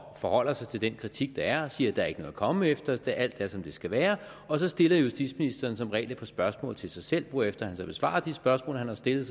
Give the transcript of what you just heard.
forholder sig til den kritik der er og siger at der ikke er noget at komme efter alt er som det skal være så stiller justitsministeren som regel et par spørgsmål til sig selv hvorefter han besvarer de spørgsmål han har stillet